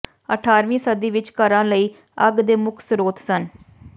ਅਠਾਰਵੀਂ ਸਦੀ ਵਿਚ ਘਰਾਂ ਲਈ ਅੱਗ ਦੇ ਮੁੱਖ ਸਰੋਤ ਸਨ